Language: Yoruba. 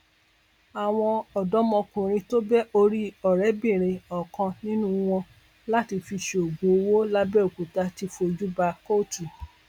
àwọn ọdọmọkùnrin tó bẹ orí ọrẹbìnrin ọkàn nínú wọn láti fi ṣoògùn owó làbẹọkútà ti fojú bá kóòtù